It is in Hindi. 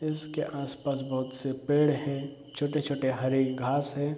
इसके आस-पास बोहोत से पेड़ है। छोटे-छोटे हरे घास है।